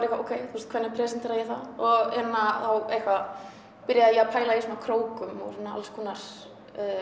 ég ókei hvernig presentera ég það og hérna þá eitthvað byrjaði ég að pæla í svona krókum og alls konar